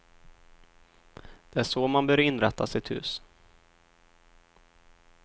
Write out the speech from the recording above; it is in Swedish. Det är så man bör inrätta sitt hus.